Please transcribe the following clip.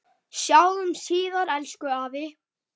Sjáumst síðar, elsku afi.